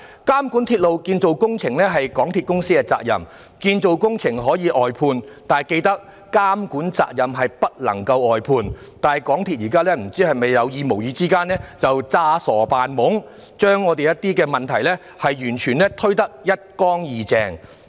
監管鐵路建造工程是港鐵公司的責任，建造工程可以外判，但緊記監管責任不能外判，但港鐵公司現時有意無意裝傻扮懵，將一些問題完全推得一乾二淨。